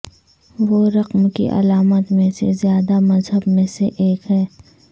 وہ رقم کی علامات میں سے زیادہ مہذب میں سے ایک ہے